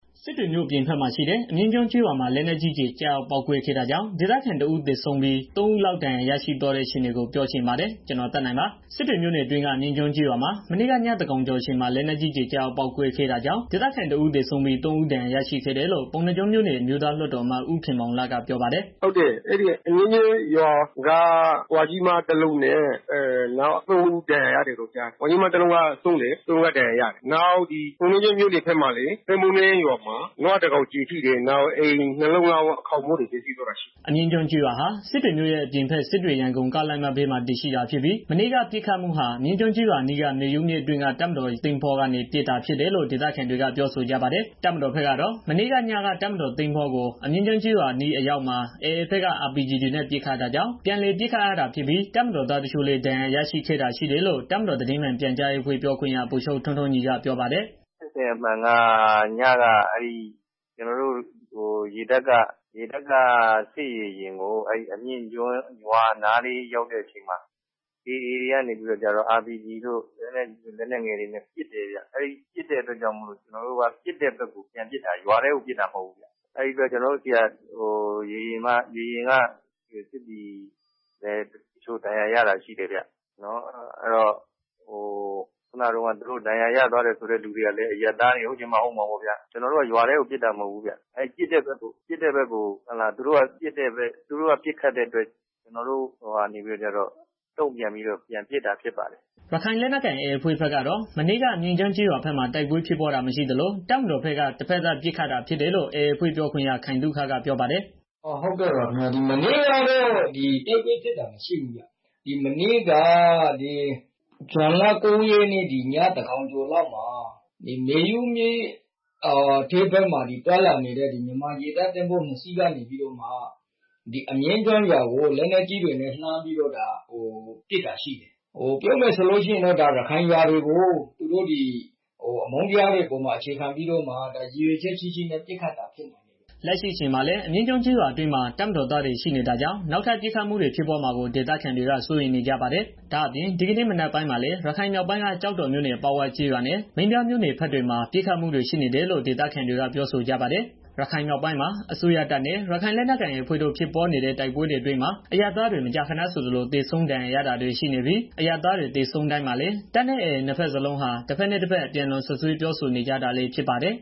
စစ်တွေမြို့ အပြင်ဘက်မှာရှိတဲ့ အမြင့်ကျွန်းကျေးရွာမှာ လက်နက်ကြီးကျည် ကျရောက်ပေါက်ကွဲခဲ့တာကြောင့် ဒေသခံတစ်ဦး သေဆုံးပြီး ၃ ဦးလောက် ဒဏ်ရာရသွားတဲ့ အခြေအနေကို ဗွီအိုအေမြန်မာပိုင်းသတင်းထောက် ကိုသက်နိုင်က ပြောပြပေးပါမယ်။ စစ်တွေမြို့နယ် အတွင်းက အမြင့်ကျွန်းကျေးရွာမှာ မနေ့က ညသန်းခေါင်းကျော်အချိန်မှာ လက်နက်ကြီးကျည် ကျရောက်ပေါက်ကွဲခဲ့တာကြောင့် ဒေသခံ တစ်ဦး သေဆုံးပြီး သုံး ဦးဒဏ်ရာရရှိခဲ့တယ်လို့ ပုဏ္ဏားကျွန်းမြို့နယ် အမျိုးသားလွှတ်တော်အမတ် ဦးခင်မောင်လတ်က ပြောပါတယ်။ "ဟုတ်တယ်။ အဲဒီအမြင့်ကျွန်းကျေးရွာက အဘွားအို တစ်ဦး သေဆုံးပြီး နောက်ထပ် သုံးေ ယာက် ဒဏ်ရာရတယ်လို့ ကြားတယ်။ နောက်ပုဏ္ဏားကျွန်းမြို့နယ် သန်းပုန်းတန်း ကျေးရွာမှာလည်း နွားတစ်ကောင် ကျည်ထိတယ်။ ပြီးတော့ နေအိမ် နှစ်လုံး ခေါင်းမိုးတွေ ပျက်စီးသွားတယ်။" အမြင့် ကျေးရွာဟာ စစ်တွေမြို့ရဲ့ အပြင်ဘက် စစ်တွေ ရန်ကုန်ကားလမ်းမဘေးမှာ တည်ရှိတာဖြစ်ပြီး မနေ့က ပစ်ခတ်မှုဟာ အမြင့်ကျွန်းကျေးရွာအနီးက မေယုမြစ်အတွင်းက တပ်မတော်ရေတပ်င်္ဘောကနေ ပစ်ခတ်တာ ဖြစ်တယ်လို့ ဒေသခံတွေက ပြောဆိုကြပါတယ်။ တပ်မတော်ဘက်ကတော့ မနေ့ကညက တပ်မတော်ရေတပ်သင်္ဘောကို အမြင့်ကျွန်းကျေးရွာအနီးအရောက်မှာ AA ဘက်က RPG တွေနဲ့ ပစ်ခတ်တာကြောင့် ပြန်လည်ပစ်ခတ်ရာတာဖြစ်ပြီး တပ်မတော်သားတချို့လည်း ဒဏ်ရာရရှိခဲ့တာရှိတယ်လို့ တပ်မတော်သတင်းမှန်ပြန်ကြားရေးအဖွဲ့ ပြောခွင့်ရ ဗိုလ်ချုပ် ထွန်းထွန်းညီကပြောပါတယ်။ "ဖြစ်စဉ်အမှန်က ညက ကျနော်တို့ စစ်ရေယာဉ်ကို အဲဒီအမြင့်ကျွန်းကျေးရွာနားလေး ရောက်တဲ့ အချိန်မှာ AA တွေကနေပြီးတော့ RPG တို့ လက်နက်ငယ် လက်နက်ကြီးတွေနဲ့ ပြန်ပစ်တာ အဲတာကြောင့် ကျနော်တို့က ပစ်တဲ့ဘက်ကို ပြန်ပစ်တာ။ ရွာထဲကို ပစ်တာ မဟုတ်ဘူးခင်မျာ။ အဲဒီမှာ ကျနော်တို့ ရေယာဉ်က စစ်သည် တချို့လည်း ဒဏ်ရာရတာရှိတယ်ဗျာ။ ဒဏ်ရာရသွားတယ်ဆိုတဲ့ သူတွေကလည်း အရပ်သားတွေ ဟုတ်ချင်မှ ဟုတ်မှာပေါ့ဗျာ။ ကျနော်တို့ကတော့ ရွာထဲကို ပစ်တာ မဟုတ်ဘူး သူတို့ပစ်တဲ့ဘက်ကို ပြန်ပစ်တာပဲဖြစ်ပါတယ်ခင်ဗျာ။" ရခိုင်လက်နက်ကိုင် AA အဖွဲ့ဘက်ကတော့ မနေ့က အမြင့်ကျွန်းကျေးရွာဘက်မှာ တိုက်ပွဲဖြစ်ပွားတာမရှိသလို တပ်မတော်ဘက်က တဘက်သတ်ပစ်ခတ်တာဖြစ်တယ်လို့ AA အဖွဲ့ ပြောခွင့်ရ ခိုင်သုခက ပြောပါတယ်။ "မနေ့ကတော့ တိုက်ပွဲဖြစ်တာ မရှိဘူးခင်ဗျာ။ မနေ့က ညသန်းခေါင်းကျော်လောက်မှာ မေယုမြစ်အတွင်းမှာ သွားလာနေတဲ့ ရေတပ်သဘောၤနှစ်စီးကနေပြီးတော့ အမြင့်ကျွန်းကျေးရွာကို လက်နက်ကြီးတွေနဲ့ လှမ်းပြီးတော့ ပစ်တာရှိတယ်။ ပြောရမယ်ဆိုရင် ဒါ ရခိုင်လူမျိုးတွေနေတဲ့ ရွာတွေကို အမုန်းတရားတွေပေါ်မှာ အခြေခံပြီး ရည်ရွယ်ချက်ရှိရှိ ပစ်ခတ်တာဖြစ်တယ်။" လက်ရှိအချိန်မှာလည်း အမြင့်ကျွန်းကျေးရွာအတွင်းမှာ တပ်မတော်သားတွေ ရှိနေတာကြောင့် နောက်ထပ် ပစ်ခတ်မှုတွေ ဖြစ်ပွားမှာကို ဒေသခံတွေက စိုးရိမ်နေကြပါတယ်။ ဒါအပြင် ဒီကနေ့မနက်ပိုင်းမှာပဲ ရခိုင်မြောက်ပိုင်းက ကျောက်တော်မြို့နယ် အပေါက်ဝ ကျေးရွာနဲ့ မင်းပြားမြို့နယ်ဘက်တွေမှာ ပစ်ခတ်မှုတွေ ရှိနေတယ်လို့ ဒေသခံတွေက ပြောဆိုကြပါတယ်။ ရခိုင်မြောက်ပိုင်းမှာ အစိုးရတပ်နဲ့ AA ရခိုင်လက်နက်ကိုင်အဖွဲ့တို့ ဖြစ်ပွားနေတဲ့ တိုက်ပွဲအတွင်းမှာ အရပ်သားတွေ မကြာခဏဆိုသလို သေဆုံးဒဏ်ရာရတာတွေ ရှိနေပြီး အရပ်သားတွေ သေဆုံးတိုင်းမှာလည်း တပ်နဲ့ AA နှစ်ဘက်စလုံးဟာ တဘက်နဲ့ တဘက် အပြန်အလှန်စွပ်စွဲပြောဆိုနေကြတာလည်း ဖြစ်ပါတယ်